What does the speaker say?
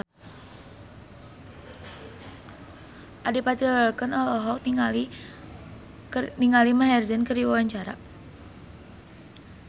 Adipati Dolken olohok ningali Maher Zein keur diwawancara